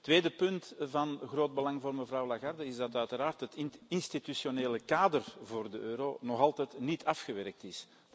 Tweede punt van groot belang voor mevrouw Lagarde is uiteraard dat het institutionele kader voor de euro nog altijd niet afgewerkt is.